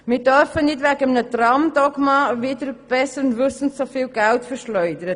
Wir dürfen nicht wegen eines Tram-Dogmas wider besseres Wissen so viel Geld verschleudern.